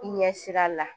I ɲɛsira la